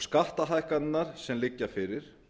skattahækkanirnar sem liggja fyrir